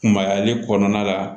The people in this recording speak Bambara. Mayaali kɔnɔna la